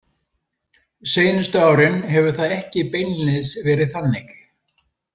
Seinustu árin hefur það ekki beinlínis verið þannig.